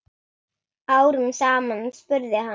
Árum saman? spurði hann.